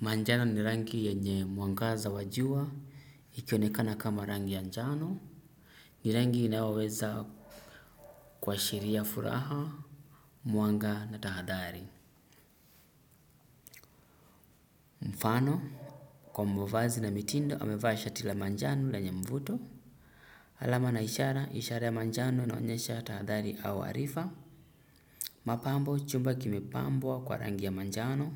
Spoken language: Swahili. Manjana ni rangi yenye muangaza wajua, ikionekana kama rangi ya njano, ni rangi inaweza kuwashiria furaha, muanga na tahadhari. Mfano, kwa mbovazi na mitindo, amevaa shati la manjano lenye mvuto. Alama na ishara, ishara ya manjano inaonyesha tahadhari au arifa. Mapambo, chumba kimepambwa kwa rangi ya manjano.